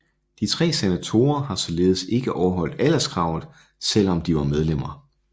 Tre senatorer har således ikke overholdt alderskravet selvom de var medlemmer